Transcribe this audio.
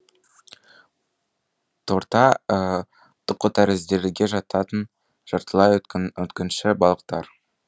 торта тұқытәрізділерге жататын жартылай өткінші балықтар